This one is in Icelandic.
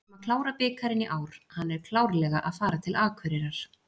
Við ætlum að klára bikarinn í ár, hann er klárlega að fara til Akureyrar.